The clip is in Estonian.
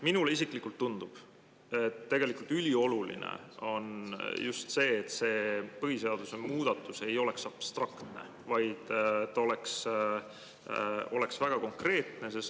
Minule isiklikult tundub, et ülioluline on just see, et see põhiseaduse muudatus ei oleks abstraktne, vaid see oleks väga konkreetne.